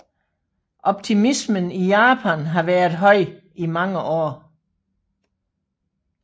Optimismen i Japan havde været høj i mange år